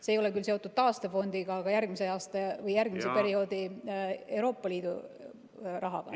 See ei ole küll seotud taastefondiga, aga järgmise perioodi Euroopa Liidu rahaga.